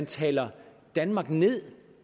taler danmark ned